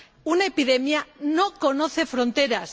Una epidemia no conoce fronteras.